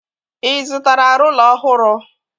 Ị zụtara rụla ọhụrụ?